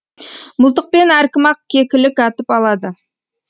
мылтықпен әркім ақ кекілік атып алады